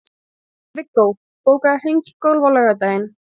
Viggó, bókaðu hring í golf á laugardaginn.